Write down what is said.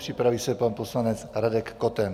Připraví se pan poslanec Radek Koten.